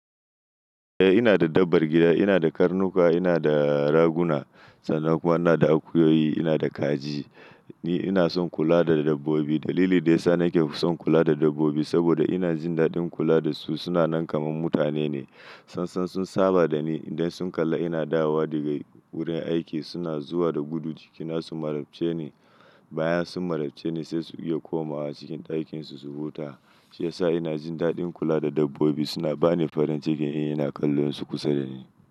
Eh ina da dabbar gida, ina da karnuka, ina da raguna sannan kuma ina da akuyoyi, ina da kaji. Ni ina son kula da dabbobi. Dalili da ya sa nake son kula da dabbobi saboda ina jin daɗin kula da su. Suna nan kamar mutane ne. Sansan sun saba da ni. Idan sun kalla ina dawowa daga wurin aiki suna zuwa da gudu jikina su marabce ni. Baya sun marabce ni sai su iya komawa cikin ɗakinsu su huta. Shi ya sa ina jin daɗin kula da dabbobi. Suna bani farin cikin in ina kallonsu kusa da ni.